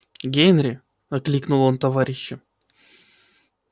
генри окликнул он товарища